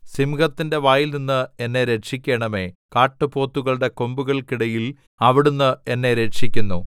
സിംഹത്തിന്റെ വായിൽനിന്ന് എന്നെ രക്ഷിക്കണമേ കാട്ടുപോത്തുകളുടെ കൊമ്പുകൾക്കിടയിൽ അവിടുന്ന് എന്നെ രക്ഷിക്കുന്നു